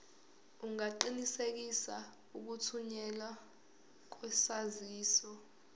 ungaqinisekisa ukuthunyelwa kwesaziso